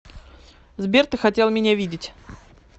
сбер ты хотел меня видеть